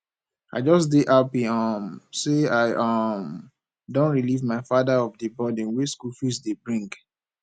i just dey happy um say i um don relieve my father of the burden wey school fees dey bring